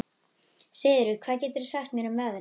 Sigríður, hvað geturðu sagt mér um veðrið?